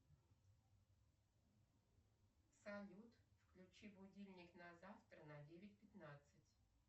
салют включи будильник на завтра на девять пятнадцать